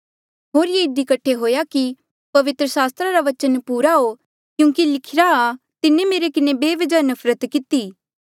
होर ये इधी कठे हुएया कि पवित्र सास्त्रा रा बचन पूरा हो क्यूंकि लिखिरा तिन्हें मेरे किन्हें बेबजह नफरत किती